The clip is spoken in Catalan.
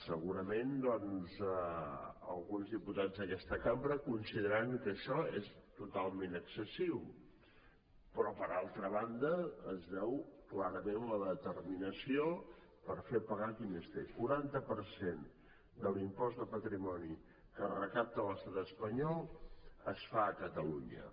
segurament doncs alguns diputats d’aquesta cambra deuen considerar que això és totalment excessiu però per altra banda es veu clarament la determinació per fer pagar qui més té el quaranta per cent de l’impost de patrimoni que es recapta a l’estat espanyol es fa a catalunya